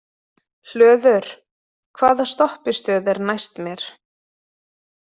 Hlöður, hvaða stoppistöð er næst mér?